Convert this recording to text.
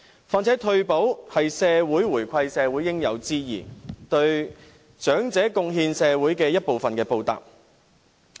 況且，退休保障是社會回饋長者的應有之義，是對長者貢獻社會的一份報答。